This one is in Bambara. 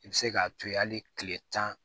I bɛ se k'a to yen hali kile tan